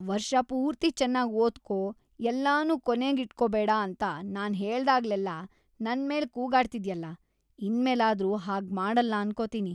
ವರ್ಷಪೂರ್ತಿ ಚೆನ್ನಾಗ್‌ ಓದ್ಕೋ, ಎಲ್ಲನೂ ಕೊನೇಗೀಟ್ಕೊಬೇಡ ಅಂತ ನಾನ್‌ ಹೇಳ್ದಾಗ್ಲೆಲ್ಲ ನನ್ಮೇಲ್‌ ಕೂಗಾಡ್ತಿದ್ಯಲ, ಇನ್ಮೇಲಾದ್ರೂ ಹಾಗ್ಮಾಡಲ್ಲ ಅನ್ಕೋತೀನಿ.